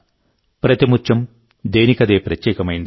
ప్రతి ముత్యం దానికదే ప్రత్యేకమైంది